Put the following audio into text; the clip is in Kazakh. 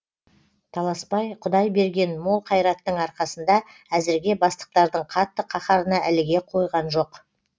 таласбай құдай берген мол қайраттың арқасында әзірге бастықтардың қатты қаһарына іліге қойған жоқ